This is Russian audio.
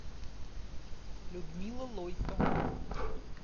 людмила лойко